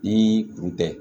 Ni kun tɛ